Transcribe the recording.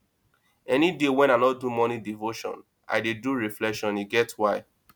any day wey i no do morning devotion i dey do reflection e get why